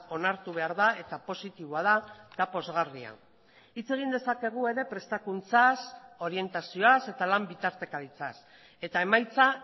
onartu behar da eta positiboa da eta pozgarria hitz egin dezakegu ere prestakuntzaz orientazioaz eta lan bitartekaritzaz eta emaitza